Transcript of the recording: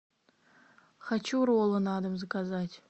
хочу роллы на дом заказать